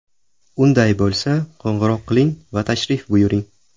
Unday bo‘lsa, qo‘ng‘iroq qiling va tashrif buyuring!